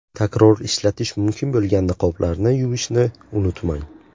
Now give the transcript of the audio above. Takror ishlatish mumkin bo‘lgan niqoblarni yuvishni unutmang!